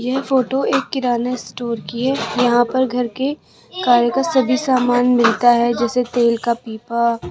यह फोटो एक किराना स्टोर कि हैं यहाँ पर घर के खाने का सभी सामान मिलता हैं जैसे तेल का पीपा --